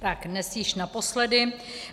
Tak dnes již naposledy.